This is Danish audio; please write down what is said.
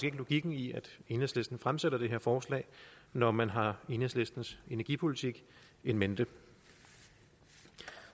ikke logikken i at enhedslisten fremsætter det her forslag når man har enhedslistens energipolitik in mente